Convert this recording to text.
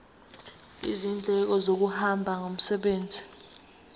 izindleko zokuhamba ngomsebenzi